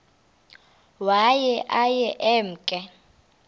waye aye emke